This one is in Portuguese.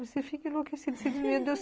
Você fica enlouquecido,